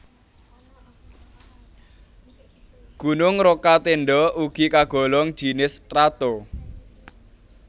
Gunung Rokatenda ugi kagolong jinis strato